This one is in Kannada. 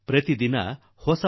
ಹೊಸ ಪ್ರಭಾವ ಹುಟ್ಟುಹಾಕುತ್ತದೆ